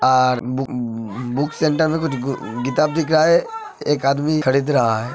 और book center में किताब दिख रहा है। एक आदमी खरीद रहा है।